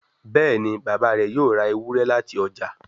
Béèni Bàbá rẹ yóò rá Ewúrẹ́ láti ọjà.